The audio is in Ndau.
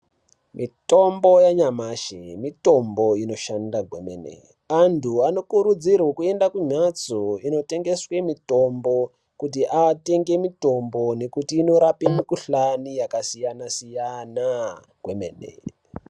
Mitombo yanyamashi mitombo inoshanda Kwemene. Antu anokurudzirwe kuende kumbatso inotengeswe mitombo kuti atenge mitombo nekuti inorape mukuhlane yakasiyana siyana kwemene mene.